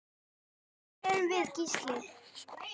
Hverjir erum við Gísli?